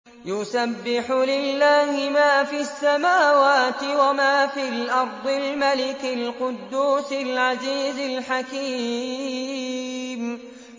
يُسَبِّحُ لِلَّهِ مَا فِي السَّمَاوَاتِ وَمَا فِي الْأَرْضِ الْمَلِكِ الْقُدُّوسِ الْعَزِيزِ الْحَكِيمِ